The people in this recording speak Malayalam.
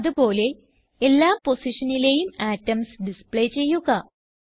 അതുപോലെ എല്ലാ പൊസിഷനിലെയും അറ്റോംസ് ഡിസ്പ്ലേ ചെയ്യുക